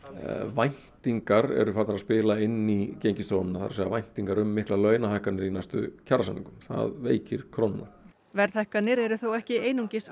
væntingar eru farnar að spila inn í gengisþróunina það er að segja væntingar um miklar launahækkanir í næstu kjarasamningum það veikir krónuna verðhækkanir eru þó ekki einungis